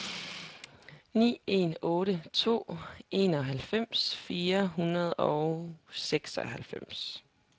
ni en otte to enoghalvfems fire hundrede og seksoghalvfems